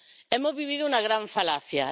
Hemos vivido una gran falacia.